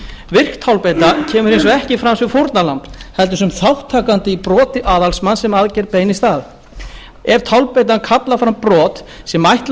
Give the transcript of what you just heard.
virk tálbeita kemur hins vegar ekki fram sem fórnarlamb heldur sem þátttakandi í broti aðalmanns sem aðgerð beinist að ef tálbeitan kallar fram brot sem ætla